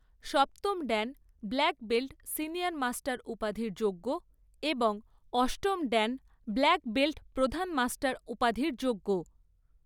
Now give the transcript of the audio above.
সপ্তম dan black belt senior master উপাধির যোগ্য এবং অষ্টম ড্যান ব্ল্যাক বেল্ট প্রধান মাস্টার উপাধির যোগ্য।